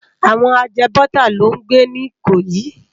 Àwòn àjèbòtá ló n gbé ni Ikoyi